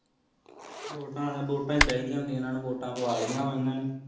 ਵੋਟਾ ਵਾਲੇ ਨੂ ਵੋਟਾ ਚਿੜਾ ਹੀ ਹੋਂਦੀ ਇਹਨਾ ਨੂ ਵੋਟਾ ਪੂਰਾ ਲਿਯਾ ਨੇ ਇਹਨਾ ਨੇ